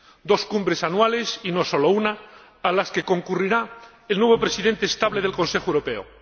dos cumbres anuales y no solo una, a las que concurrirá el nuevo presidente estable del Consejo Europeo